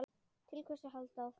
Til hvers að halda áfram?